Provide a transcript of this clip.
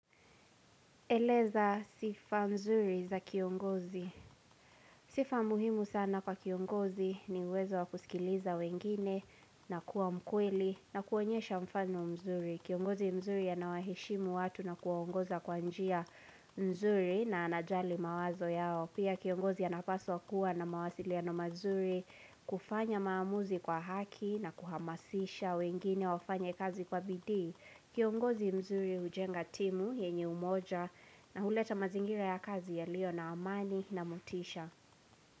Eleza sifa nzuri za kiongozi. Sifa muhimu sana kwa kiongozi ni uwezo wakusikiliza wengine na kuwa mkweli na kuonyesha mfano mzuri. Kiongozi mzuri ya nawaheshimu watu na kuwaongoza kwa njia mzuri na anajali mawazo yao. Pia kiongozi anapaswa kuwa na mawasiliano mazuri kufanya maamuzi kwa haki na kuhamasisha wengine wafanya kazi kwa bidii. Kiongozi mzuri hujenga timu yenye umoja na huleta mazingira ya kazi yalio na amani na mutisha.